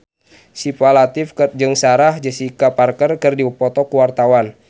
Syifa Latief jeung Sarah Jessica Parker keur dipoto ku wartawan